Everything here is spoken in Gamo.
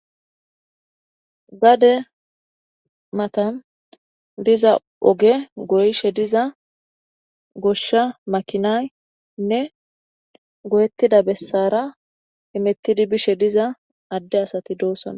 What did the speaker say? gade matan diza oge goyshe diza goshsha makinaynne goyettida bessara himettidi bishe diza adde asati doosona